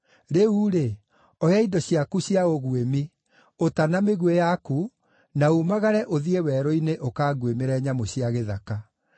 Rĩu-rĩ, oya indo ciaku cia ũguĩmi; ũta na mĩguĩ yaku, na uumagare ũthiĩ werũ-inĩ ũkanguĩmĩre nyamũ cia gĩthaka.